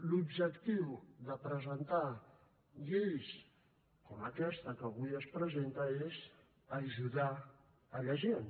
l’objectiu de presentar lleis com aquesta que avui es presenta és ajudar la gent